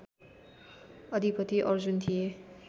अधिपति अर्जुन थिए